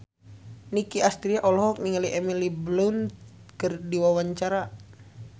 Nicky Astria olohok ningali Emily Blunt keur diwawancara